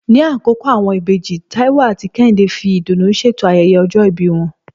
Ní Àkókó, àwọn ìbejì Táíwò àti Kẹ́hìndé fi ìdùnnú ṣètò ayẹyẹ ọjọ́ ìbí wọn